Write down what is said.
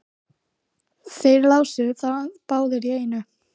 Þeir lásu það báðir í einu.